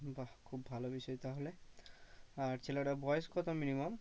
বাহ খুব ভালো বিষয় তাহলে আর ছেলেটার বয়স কত minimum?